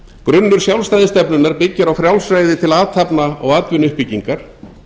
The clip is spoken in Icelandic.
grunnur sjálfstæðisstefnunnar byggir á frjálsræði til athafna og atvinnuuppbyggingar